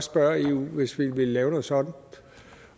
spørge eu hvis vi ville lave noget sådant